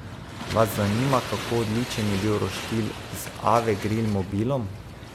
Vas zanima, kako odličen je bil roštilj z Ave grill mobilom?